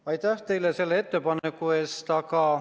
Aitäh teile selle ettepaneku eest!